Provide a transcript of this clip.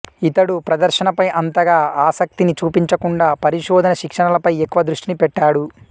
ఇతడు ప్రదర్శనపై అంతగా ఆసక్తిని చూపించకుండా పరిశోధన శిక్షణలపై ఎక్కువ దృష్టిని పెట్టాడు